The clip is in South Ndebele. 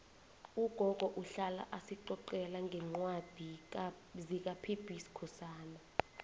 ugogo uhlala asicocela ngencwadi zikapb skhosana